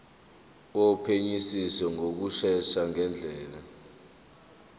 wophenyisiso ngokushesha ngendlela